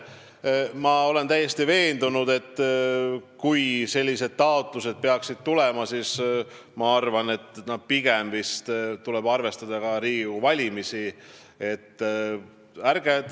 Ma olen täiesti veendunud, et kui sellised taotlused peaksid tulema, siis tuleb neid arutada pärast Riigikogu valimisi.